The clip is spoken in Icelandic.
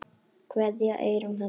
Kveðja, Eyrún Halla.